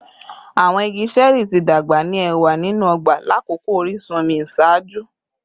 Awọn igi ṣẹẹri ti dagba ni ẹwa ninu ọgba lakoko orisun omi iṣaaju